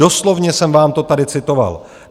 Doslovně jsem vám to tady citoval.